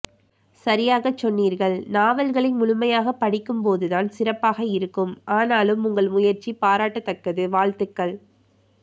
சரியாகச்சொன்னீர்கள் நாலவல்களை முழுமையாகப்படிக்கும் போதுதான் சிறப்பாக இருக்கும் ஆனாலும் உங்கள் முயற்சி பாராட்டத்தக்கது வாழ்த்துக்கள்